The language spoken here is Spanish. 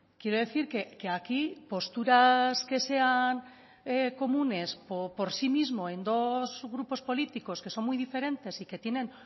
quiero decir que aquí posturas que sean comunes o por sí mismo en dos grupos políticos que son muy diferentes y que tienen